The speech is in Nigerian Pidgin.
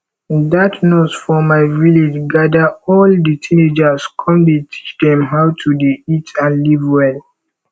dat nurse for my village gather all the teenagers come dey teach dem how to dey eat and live well